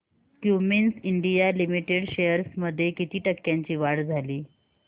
Cummins India Limited shares मध्ये किती टक्क्यांची वाढ झाली